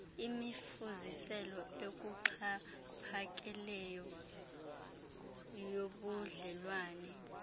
imifuziselo ekuxhaphakeleyo yobudlelwane